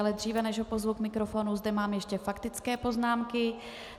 Ale dříve, než ho pozvu k mikrofonu, mám zde ještě faktické poznámky.